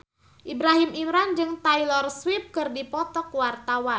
Ibrahim Imran jeung Taylor Swift keur dipoto ku wartawan